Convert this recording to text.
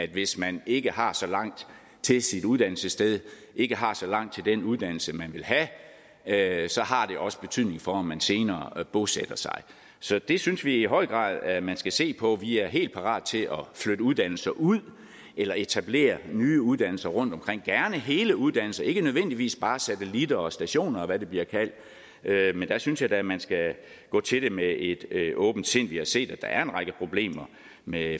hvis man ikke har så langt til i sit uddannelsessted ikke har så langt til den uddannelse man vil have så har det også betydning for om man senere bosætter sig så det synes vi i høj grad at man skal se på vi er helt parate til at flytte uddannelser ud eller etablere nye uddannelser rundtomkring gerne hele uddannelser ikke nødvendigvis bare satellitter og stationer og hvad det bliver kaldt der synes jeg da at man skal gå til det med et åbent sind vi har set at der er en række problemer med